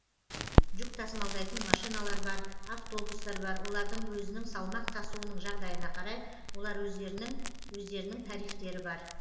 жүк тасымалдайтын машиналар бар автобустар бар олардың өзінің салмақ тасуының жағдайына қарай олар өздерінің өздерінің тарифтері бар